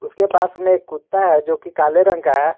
उसके पास में एक कुत्ता है जो कि काले रंग का है।